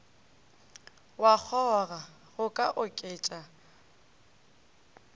wa kgoga go ka oketša